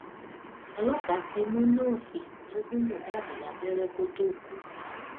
ọlọpàá ti mú nọọsì tó gún mohbad lábẹrẹ kó tóó kú